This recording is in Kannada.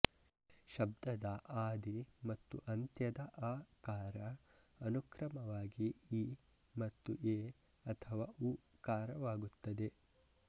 ಶಬ್ದದ ಆದಿ ಮತ್ತು ಅಂತ್ಯದ ಅ ಕಾರ ಅನುಕ್ರಮವಾಗಿ ಇ ಮತ್ತು ಎ ಅಥವಾ ಉ ಕಾರವಾಗುತ್ತದೆ